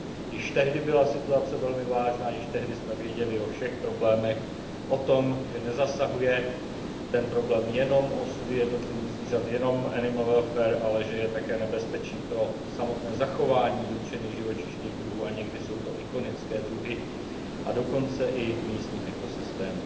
Již tehdy byla situace velmi vážná, již tehdy jsme věděli o všech problémech, o tom, že ten problém nezasahuje jenom osudy jednotlivých zvířat, jenom animal welfare ale že je také nebezpečím pro samotné zachování dotčených živočišných druhů a někdy jsou to ikonické druhy a dokonce i místních ekosystémů.